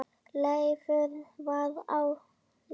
Leifur var á lífi.